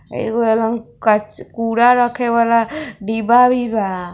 एगो हलन कच कूड़ा रखे वाला डिब्बा भी बा |